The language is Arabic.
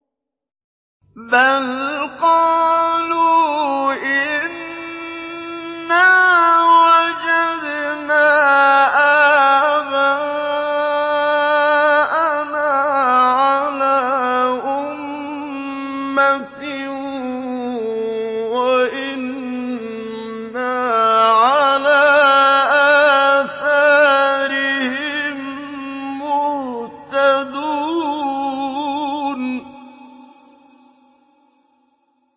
بَلْ قَالُوا إِنَّا وَجَدْنَا آبَاءَنَا عَلَىٰ أُمَّةٍ وَإِنَّا عَلَىٰ آثَارِهِم مُّهْتَدُونَ